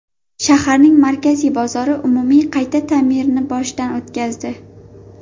Shaharning markaziy bozori umumiy qayta ta’mirni boshidan o‘tkazdi.